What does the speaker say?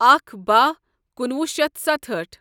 اکھ باہ کُنوُہ شیتھ ستہأٹھ